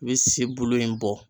I bi si bulu in bɔ